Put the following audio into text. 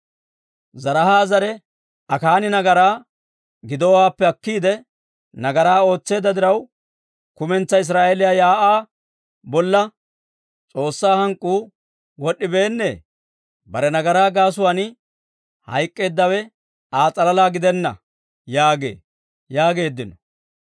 Zaraaha zare Akaani nagaraa gidowaappe akkiide, nagaraa ootseedda diraw, kumentsaa Israa'eeliyaa shiik'uwaa bolla S'oossaa hank'k'uu wod'd'ibeennee? Bare nagaraa gaasuwaan hayk'k'eeddawe Aa s'alalaa gidenna› yaagee» yaageeddino.